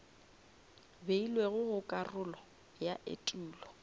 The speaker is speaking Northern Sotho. beilwego go karolo ya etulo